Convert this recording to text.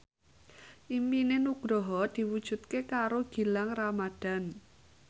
impine Nugroho diwujudke karo Gilang Ramadan